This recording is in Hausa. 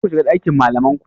Karku shiga ɗakin malamai ku.